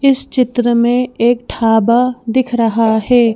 इस चित्र में एक ढाबा दिख रहा है।